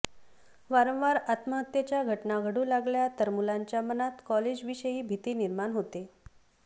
वारंवार आत्महत्येच्या घटना घडू लागल्या तर मुलांच्या मनात कॉलेजविषयी भीती निर्माण होते